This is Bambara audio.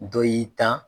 Dɔ y'i tan